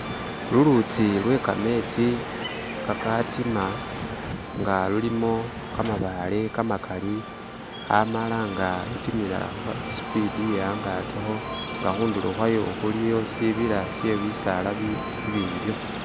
Lulutsi lwe kametsi kakatima, nga lulimo kamabale kamakali, amala nga lutimila huha sipiidi iye angakiho, nga hundulo hwayo huliyo sibila syebisaala bibimbiho